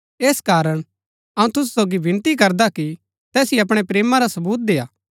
ऐस कारण अऊँ तुसु सोगी विनती करदा कि तैसिओ अपणै प्रेमा रा सबूत देय्आ